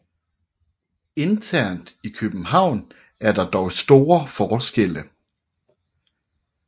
Internt i København er der dog store forskelle